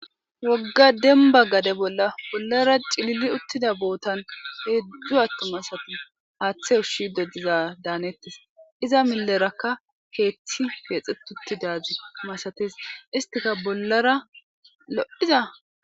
Woga demba gade bolla bollara ci,liliutida bothan hedzdzu atum asati hathe ushiza danetes iza mileraka kethi kexetiutiza malates izappeka bollara lo,iza